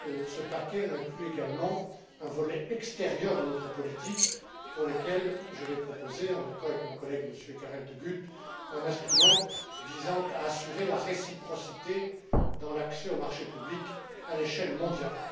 Ce paquet inclut également un volet extérieur de notre politique, pour lequel je vais proposer, en accord avec mon collègue, M. Karel De Gucht, un instrument visant à assurer la réciprocité dans l'accès aux marchés publics à l'échelle mondiale.